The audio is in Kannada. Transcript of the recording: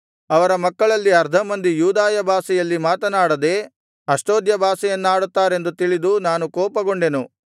ಅವರ ಮಕ್ಕಳಲ್ಲಿ ಅರ್ಧ ಮಂದಿ ಯೂದಾಯ ಭಾಷೆಯಲ್ಲಿ ಮಾತನಾಡದೆ ಅಷ್ಡೋದ್ಯ ಭಾಷೆಯನ್ನಾಡುತ್ತಾರೆಂದು ತಿಳಿದು ನಾನು ಕೋಪಗೊಂಡೆನು